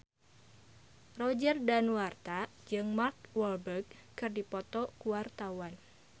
Roger Danuarta jeung Mark Walberg keur dipoto ku wartawan